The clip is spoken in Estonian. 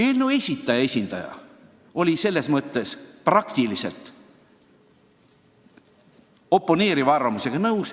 Eelnõu algataja esindaja oli oponeeriva arvamusega nõus.